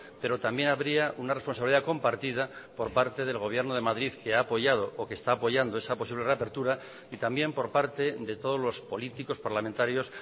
pero también habría una responsabilidad compartida por parte del gobierno de madrid que ha apoyado o que está apoyando esa posible reapertura y también por parte de todos los políticos parlamentarios